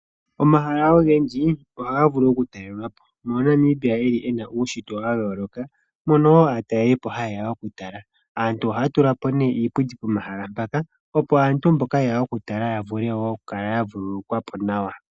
Omahala ogendji ohaga vulu okutalelwapo. Namibia okuli ena uushitwe wayooloka mono woo aatalelipo hayeya okutala . Aantu ohaya tulapo ne iipundi pomahala mpaka opo aantu mboka yeya okutala yavule oku kala yavuululukwa po nawa.